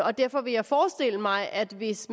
og derfor kan jeg forestille mig at hvis